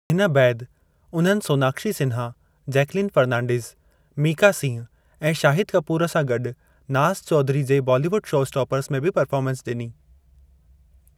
हिन बैदि उन्हनि सोनाक्षी सिन्हा, जैकलीन फर्नांडीज़, मीका सिंह ऐं शाहिद कपूर सां गॾु नाज़ चौधरी जे बॉलीवुड शोस्टॉपर्स में बि पर्फ़ोरमेंस डि॒नी।